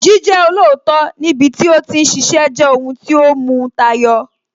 Jíjẹ́ olóòótọ́ níbi tí ó ti ń ṣiṣẹ́ jẹ́ ohun tí ó mu tayọ